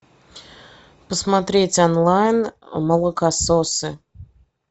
посмотреть онлайн молокососы